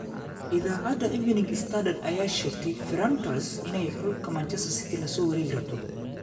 Iidacada Evening Standard, aya sheegtey Ferran Torres inay xulka Manchester City lasowarekirabto.